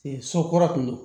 So kɔrɔ kun